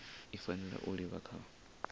i fanela u livha kha